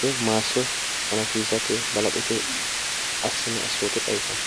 woy maasso xawisate balaxote assino assoote xawissanno